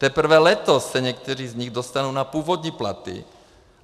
Teprve letos se někteří z nich dostanou na původní platy.